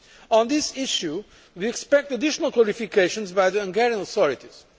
On this issue we expect additional clarifications by the Hungarian authorities.